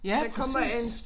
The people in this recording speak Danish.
Ja præcis